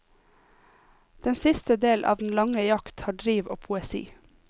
Den siste del av den lange jakt har driv og poesi.